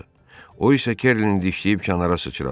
O isə Kerlin dişləyib kənara sıçradı.